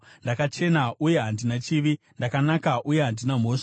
‘Ndakachena uye handina chivi; ndakanaka uye handina mhosva.